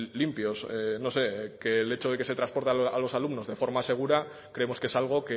limpios no sé que el hecho de que se transporte a los alumnos de forma segura creemos que es algo